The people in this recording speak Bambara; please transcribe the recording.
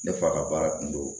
Ne fa ka baara kun do